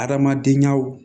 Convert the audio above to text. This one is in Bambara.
Adamadenyaw